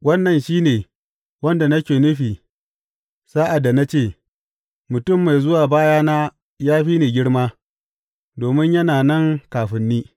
Wannan shi ne wanda nake nufi sa’ad da na ce, Mutum mai zuwa bayana ya fi ni girma, domin yana nan kafin ni.’